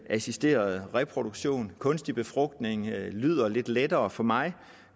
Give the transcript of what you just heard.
assisteret reproduktion kunstig befrugtning lyder lidt lettere for mig